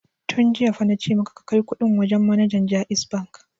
Tun jiya fa na ce maka ka kai kuɗin wajen manajan JAIZ Bank!